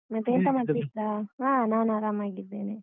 ಮತ್ತೆ ಎಂತ ಮಾಡ್ತಿದ್ರಾ ಹ ನಾನು ಆರಾಮಾಗಿದ್ದೇನೆ.